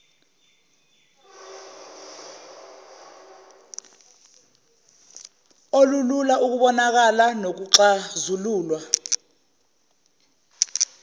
olulula ukubonakala nokuxazululwa